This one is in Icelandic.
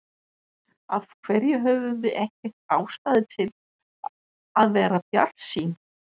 Af hverju höfum við ekki ástæðu til að vera bjartsýn?